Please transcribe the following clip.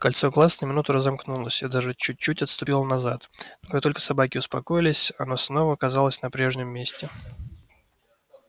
кольцо глаз на минуту разомкнулось и даже чуть чуть отступило назад но только собаки успокоились оно снова оказалось на прежнем месте